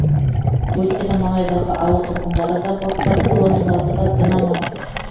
өйткені маңайдағы ауыл тұрғындары да борттағы жолаушылар да дін аман